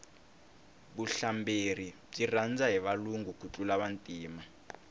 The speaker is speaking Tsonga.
vuhlamberi byi rhandza hi valungu ku tlula vantima